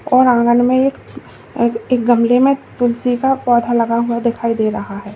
और आंगन में एक एक गमले में तुलसी का पौधा लगा हुआ दिखाई दे रहा है।